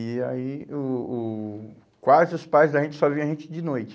E aí o o quase os pais da gente só via a gente de noite.